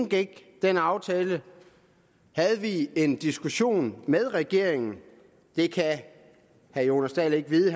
indgik den aftale havde vi en diskussion med regeringen det kan herre jonas dahl ikke vide